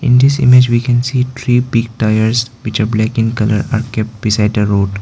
in this image we can see three big tyres which are black in colour are kept beside the road.